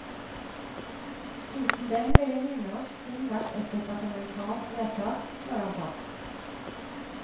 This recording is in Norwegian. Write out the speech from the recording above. Uten dem ville nynorsk kun vært et departementalt vedtak, slår han fast.